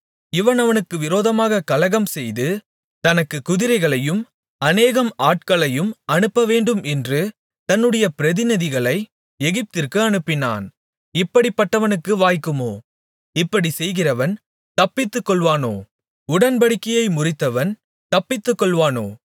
இவன் அவனுக்கு விரோதமாகக் கலகம்செய்து தனக்குக் குதிரைகளையும் அநேகம் ஆட்களையும் அனுப்பவேண்டுமென்று தன்னுடைய பிரதிநிதிகளை எகிப்திற்கு அனுப்பினான் இப்படிப்பட்டவனுக்கு வாய்க்குமோ இப்படிச் செய்கிறவன் தப்பித்துக்கொள்வானோ உடன்படிக்கையை முறித்தவன் தப்பித்துக்கொள்வானோ